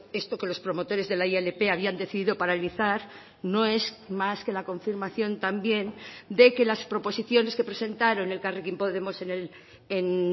esto que los promotores de la ilp habían decidido paralizar no es más que la confirmación también de que las proposiciones que presentaron elkarrekin podemos en